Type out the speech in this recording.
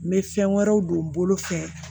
N bɛ fɛn wɛrɛw don n bolo fɛ